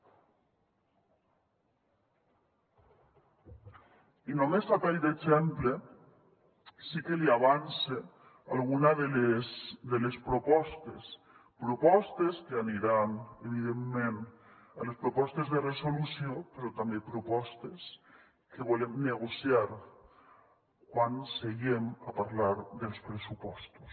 i només a tall d’exemple sí que li avance alguna de les propostes propostes que aniran evidentment a les propostes de resolució però també propostes que volem negociar quan seguem a parlar dels pressupostos